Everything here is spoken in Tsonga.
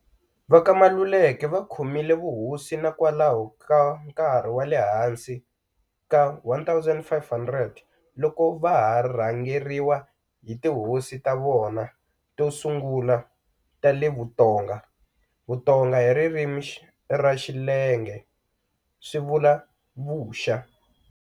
Va ka Maluleke va khomile vuhosi na kwalano ka nkarhi wa le hansi ka 1500 loko va ha rhangeriwa hi tihosi ta vona to sungula ta le vutonga, "Vutonga" hi ririmi ra Xilenge swi vula"Vuxa"